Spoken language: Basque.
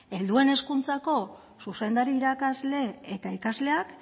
helduen hezkuntzako zuzendari irakasle eta ikasleak